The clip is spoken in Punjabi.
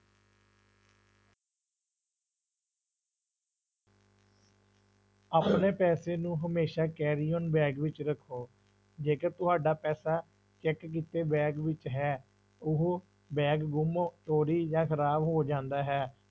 ਆਪਣੇ ਪੈਸੇ ਨੂੰ ਹਮੇਸ਼ਾ carry on bag ਵਿੱਚ ਰੱਖੋ, ਜੇਕਰ ਤੁਹਾਡਾ ਪੈਸਾ check ਕੀਤੇ bag ਵਿੱਚ ਹੈ, ਉਹ bag ਗੁੰਮ ਚੋਰੀ ਜਾਂ ਖ਼ਰਾਬ ਹੋ ਜਾਂਦਾ ਹੈ।